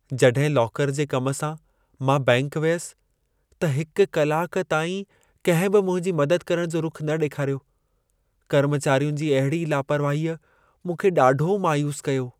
जॾहिं लॉकर जे कम सां, मां बैंकि वियसि, त हिक कलाक ताईं कंहिं बि मुंहिंजी मदद करण जो रुख़ु न ॾेखारियो। कर्मचारियुनि जी अहिड़ी लापरवाहीअ मूंखे ॾाढो मायूसु कयो।